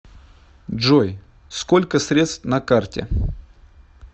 джой сколько средств на карте